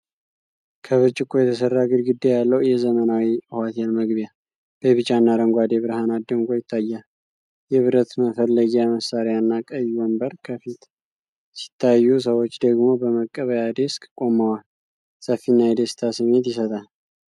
ከብርጭቆ የተሠራ ግድግዳ ያለው የዘመናዊ ሆቴል መግቢያ፣ በቢጫና አረንጓዴ ብርሃናት ደምቆ ይታያል። የብረት መፈለጊያ መሣሪያና ቀይ ወንበር ከፊት ሲታዩ፣ ሰዎች ደግሞ በመቀበያ ዴስክ ቆመዋል። ሰፊና የደስታ ስሜት ይሰጣል